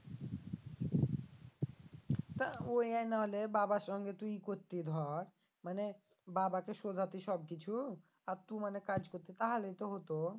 তা ওয়াই নাহলে বাবার সঙ্গে তুই করতি ধর মানে বাবাকে সোগাতি সবকিছু আর তু মানে কাজ করতি তাহলে তো হত